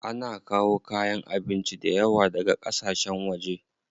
Ana kawo kayan abinci dayawa daga ƙasashen waje.